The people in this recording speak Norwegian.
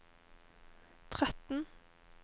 tretten